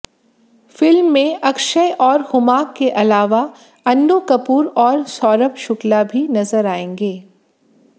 film में अक्षय और हुमा के अलावा अन्नु कपूर और सौरभ शुक्ला भी नजर आएंगे